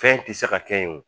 Fɛn ti se ka kɛ yen o